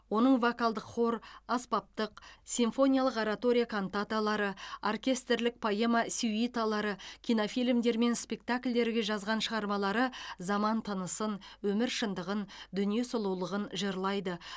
оның вокалдық хор аспаптық симфониялық оратория кантаталары оркестрлік поэма сюиталары кинофильмдер мен спектакльдерге жазған шығармалары заман тынысын өмір шындығын дүние сұлулығын жырлайды